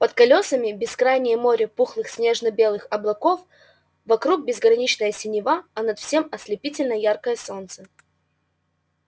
под колёсами бескрайнее море пухлых снежно-белых облаков вокруг безграничная синева а над всем ослепительно яркое солнце